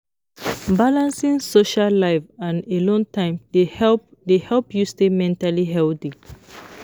Balancing social life and alone time dey help dey help you stay mentally healthy.